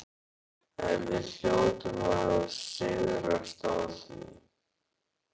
En við hljótum að sigrast á því.